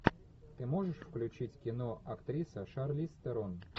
ты можешь включить кино актриса шарлиз терон